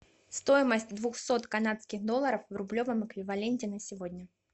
стоимость двухсот канадских долларов в рублевом эквиваленте на сегодня